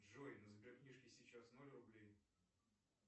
джой на сберкнижке сейчас ноль рублей